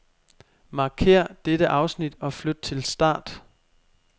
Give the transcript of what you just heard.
Markér dette afsnit og flyt til start.